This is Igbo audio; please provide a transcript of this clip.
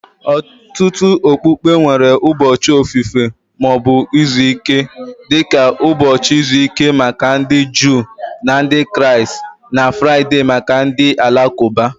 Ọtụtụ okpukpe nwere ụbọchị ofufe ma ọ bụ izu ike, dị ka ụbọchị izu ike maka ndị Juu na Ndị Kraịst na Fraịde maka ndị Alakụba. Omenala okpukpe ndị a emetụtawo ụzọ anyị si ahazi izu ọrụ anyị na oge ntụrụndụ anyị, ha na-anọgidekwa na-enwe mmetụta dị ukwuu ná ndụ anyị kwa ụbọchị